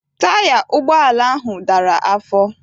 Taya ụgbọala ahụ dara afọ.